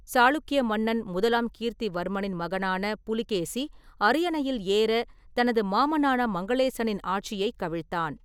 சாளுக்கிய மன்னன் முதலாம் கீர்த்திவர்மனின் மகனான புலிகேசி அரியணையில் ஏற தனது மாமனான மங்களேசனின் ஆட்சியைக் கவிழ்த்தான்.